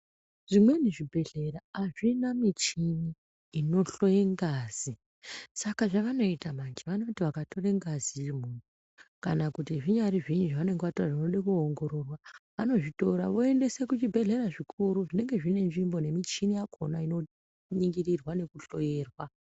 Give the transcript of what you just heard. Zvimweni zvibhedhlera hazvina michini inohloye ngazi. Saka zvavanoita manje vanoti vakatore ngazi yemunhu kana kuti zvinyari zviinyi zvavanenge vatora zvinode kuoongororwa vanozvitora voendese kuzvibhedhlera zvikuru zvinenge zvinenzvimbo nemichini yakona inoningirorwa nekuhloyerwa.